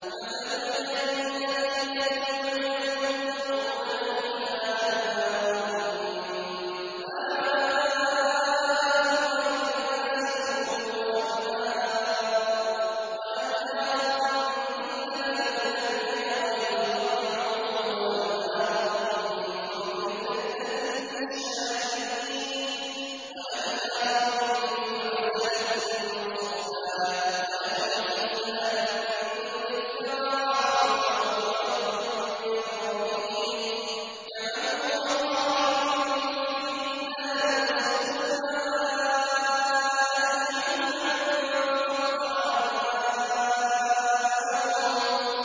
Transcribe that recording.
مَّثَلُ الْجَنَّةِ الَّتِي وُعِدَ الْمُتَّقُونَ ۖ فِيهَا أَنْهَارٌ مِّن مَّاءٍ غَيْرِ آسِنٍ وَأَنْهَارٌ مِّن لَّبَنٍ لَّمْ يَتَغَيَّرْ طَعْمُهُ وَأَنْهَارٌ مِّنْ خَمْرٍ لَّذَّةٍ لِّلشَّارِبِينَ وَأَنْهَارٌ مِّنْ عَسَلٍ مُّصَفًّى ۖ وَلَهُمْ فِيهَا مِن كُلِّ الثَّمَرَاتِ وَمَغْفِرَةٌ مِّن رَّبِّهِمْ ۖ كَمَنْ هُوَ خَالِدٌ فِي النَّارِ وَسُقُوا مَاءً حَمِيمًا فَقَطَّعَ أَمْعَاءَهُمْ